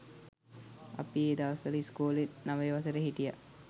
අපි ඒ දවස්වල ඉස්කොලෙ නවය වසරෙ හිටිය